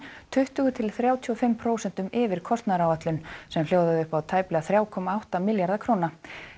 tuttugu til þrjátíu og fimm prósentum yfir kostnaðaráætlun sem hljóðaði upp á tæplega þrjá komma átta milljarða króna